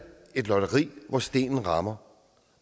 et lotteri hvor stenen rammer